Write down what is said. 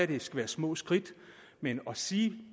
det skal være små skridt men at sige